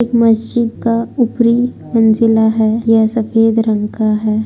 एक मस्जिद का ऊपरी मंजिला है यह सफेद रंग का है।